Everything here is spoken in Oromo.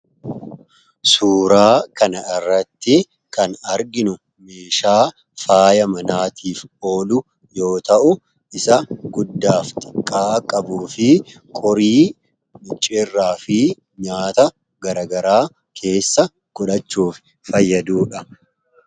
Suuraa kana irratti kan arginu meeshaa faaya manaatiif oolu yoo ta'u isa guddaafi xiqqaa qabu fi qorii miccerraa fi nyaata garagaraa keessa godhachuuf fayyadudha.